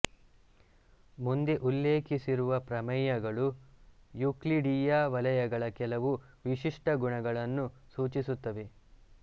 ಮುಂದೆ ಉಲ್ಲೇಖಿಸಿರುವ ಪ್ರಮೇಯಗಳು ಯೂಕ್ಲಿಡೀಯ ವಲಯಗಳ ಕೆಲವು ವಿಶಿಷ್ಟಗುಣಗಳನ್ನು ಸೂಚಿಸುತ್ತವೆ